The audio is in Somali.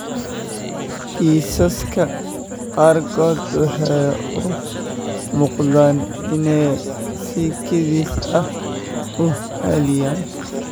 Kiisaska qaarkood waxay u muuqdaan inay si kedis ah u xalliyaan.